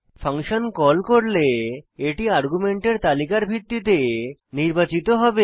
function call করলে এটি আর্গুমেন্টের তালিকার ভিত্তিতে নির্বাচিত হবে